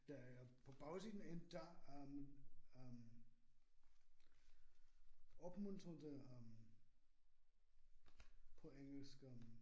Der er på bagsiden en dør øh øh opmuntret øh på engelsk øh